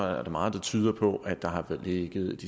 der er meget der tyder på at der har ligget